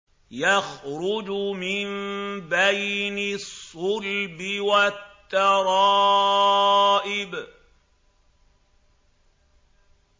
يَخْرُجُ مِن بَيْنِ الصُّلْبِ وَالتَّرَائِبِ